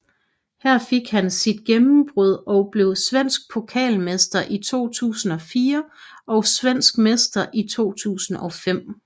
Her fik han sit gennembrud og blev svensk pokalmester i 2004 og svensk mester i 2005